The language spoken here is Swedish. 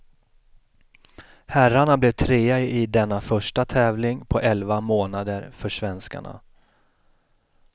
Herrarna blev trea i denna första tävling på elva månader för svenskarna.